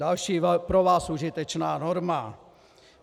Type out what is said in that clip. Další pro vás užitečná norma.